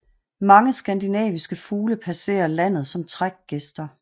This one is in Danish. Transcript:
Mange skandinaviske fugle passerer landet som trækgæster